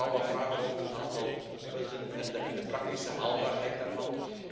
Ik heb vooral wat vragen omtrent een aantal punten en de praktische haalbaarheid daarvan.